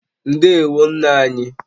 Ndewo nna anyị